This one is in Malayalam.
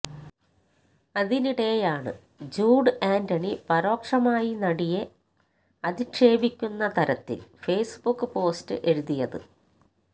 അതിനിടെയാണ് ജൂഡ് ആന്റണി പരോക്ഷമായി നടിയെ അധിക്ഷേപിക്കുന്ന തരത്തില് ഫേസ്ബുക്ക് പോസ്റ്റ് എഴുതിയത്